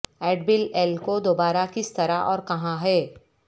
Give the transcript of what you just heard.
add بل ایل کو دوبارہ کس طرح اور کہاں ہے